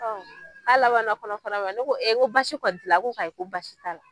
Ɔ ka labana kɔnɔ fara ma, ne ko e ko basi kɔni tila a ko ayi ko basi t'a la.